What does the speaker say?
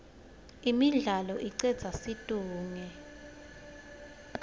imidlalo icedza situnge